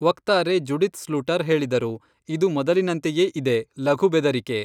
ವಕ್ತಾರೆ Judith Sluiter ಹೇಳಿದರು, ಇದು ಮೊದಲಿನಂತೆಯೇ ಇದೆ, ಲಘು ಬೆದರಿಕೆ.